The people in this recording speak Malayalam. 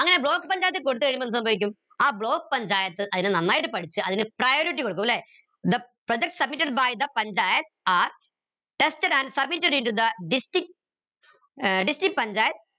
അങ്ങനെ block പഞ്ചായത്തി കൊടുത്ത് കഴിയുമ്പോ എന്ത് സംഭവിക്കും ആ block പഞ്ചായത്ത് അതിനെ നന്നായി പഠിച്ച് അതിന് priority കൊടുക്കും ല്ലെ the project submitted by the panchayat are tested and submitted in to the distinct ഏർ district panchayat